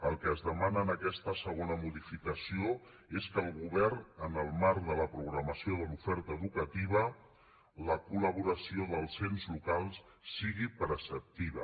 el que es demana en aquesta segona modificació és que el govern en el marc de la programació de l’oferta educativa la col·laboració dels ens locals sigui preceptiva